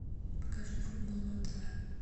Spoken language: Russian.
покажи футбол на тв